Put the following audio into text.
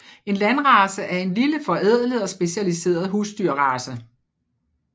En landrace er en lille forædlet og specialiseret husdyrrace